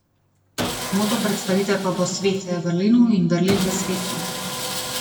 Moto predstavitve pa bo Svet v Berlinu in Berlin v svetu.